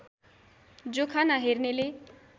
जोखाना हेर्नेले